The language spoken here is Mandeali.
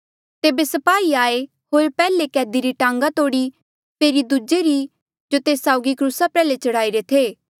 तेबे स्पाही आये होर पैहले कैदी री टांगा तोड़ी फेरी दूजे री जो तेस साउगी क्रूसा प्रयाल्हे चढ़ाई रे थे